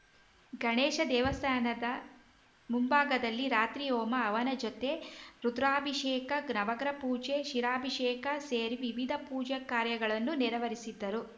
ಗಣೇಶ ದೇವಸ್ಥಾನದ ಮುಂಭಾಗದಲ್ಲಿ ರಾತ್ರಿ ಹೋಮ ಹವನ ಜೊತೆ ರುದ್ರಾಭಿಷೇಕ ನವಗ್ರಹ ಪೂಜೆ ಕ್ಷೀರಾಭಿಷೇಕ ಸೇರಿ ವಿವಿಧ ಪೂಜಾ ಕಾರ್ಯಗಳನ್ನು ನೆರವರಿಸಿದರು